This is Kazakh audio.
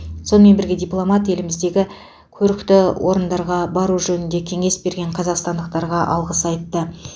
сонымен бірге дипломат еліміздегі көрікті орындарға бару жөнінде кеңес берген қазақстандықтарға алғыс айтты